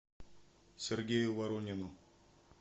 сергею воронину